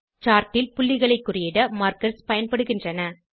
chart ல் புள்ளிகளை குறியிட மார்க்கர்ஸ் பயன்படுகின்றன